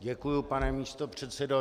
Děkuji, pane místopředsedo.